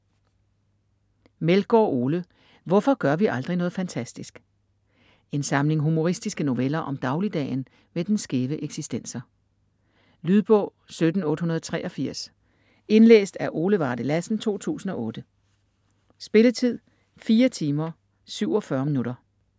Meldgård, Ole: Hvorfor gør vi aldrig noget fantastisk? En samling humoristiske noveller om dagligdagen med dens skæve eksistenser. Lydbog 17883 Indlæst af Ole Varde Lassen, 2008. Spilletid: 4 timer, 47 minutter.